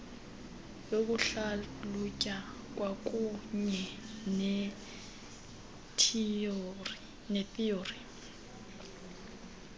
yokuhlalutya kwakuunye nethiyori